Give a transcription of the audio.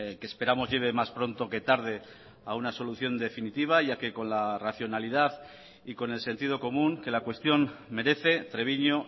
que esperamos lleve más pronto que tarde a una solución definitiva ya que con la racionalidad y con el sentido común que la cuestión merece treviño